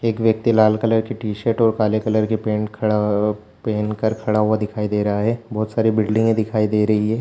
एक व्यक्ति लाल कलर की टीशर्ट और काले कलर पैंट खड़ा अ पेहन कर खड़ा हुआ दिखाई दे रहा है बहोत साड़ी बिल्डिंगे दिखाई दे रही है।